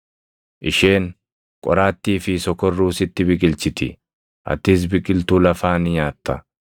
Isheen qoraattii fi sokorruu sitti biqilchiti; atis biqiltuu lafaa ni nyaatta.